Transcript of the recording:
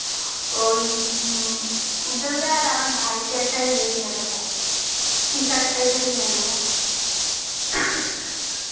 ওই উজ্জ্বল দা আর আমার ভাই কে একটা ই এ কিনা দেবো t-shirttype এ কিনে দেবো